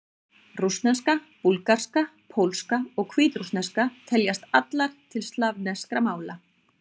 Rússneska, búlgarska, pólska og hvítrússneska teljast allar til slavneskra mála.